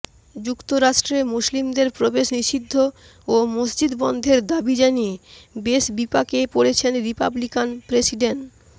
যুক্তরাষ্ট্রে মুসলিমদের প্রবেশ নিষিদ্ধ ও মসজিদ বন্ধের দাবি জানিয়ে বেশ বিপাকে পড়েছেন রিপাবলিকান প্রেসিডেন্